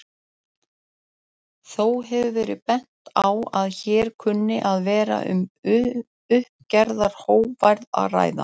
Þó hefur verið bent á að hér kunni að vera um uppgerðar hógværð að ræða.